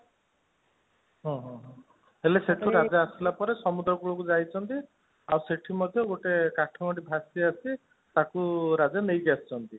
ହଁ ହଁ ହଁ ହେଲେ ସେଠୁ ରାଜା ଆସିଲା ପରେ ସମୁଦ୍ର କୂଳକୁ ଯାଇଛନ୍ତି ଆଉ ସେଠି ମଧ୍ୟ ଗୋଟେ କାଠ ଗଣ୍ଡି ଭାସି ଭାସି ଆସିଛି ତାକୁ ରାଜା ନେଇକି ଆସିଛନ୍ତି